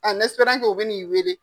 An nɛsiperan ke u bi n'i wele